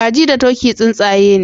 Kaji da turkey tsuntsaye ne